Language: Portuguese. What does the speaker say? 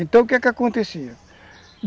Então, o que é que acontecia?